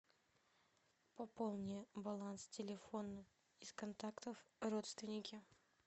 пополни баланс телефона из контактов родственники